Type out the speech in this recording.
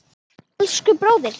Elsku bróðir.